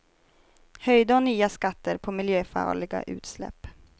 Höjda och nya skatter på miljöfarliga utsläpp.